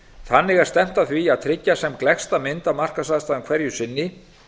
þannig er stefnt að því að tryggja sem gleggsta mynd af markaðsaðstæðum hverju sinni